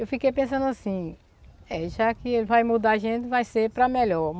Eu fiquei pensando assim, eh já que ele vai mudar a gente, vai ser para melhor.